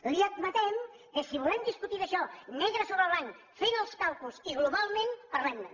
li admetem que si volem discutir d’això negre sobre blanc fent els càlculs i globalment parlem ne